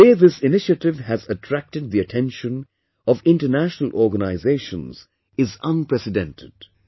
The way this initiative has attracted the attention of international organizations is unprecedented